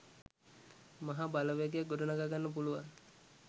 මහා බලවේගයක් ගොඩනඟා ගන්න පුළුවන්.